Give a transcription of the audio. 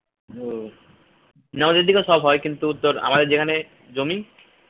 হম আমাদের এদিকে সব হয় কিন্তু আমাদের যেখানে জমি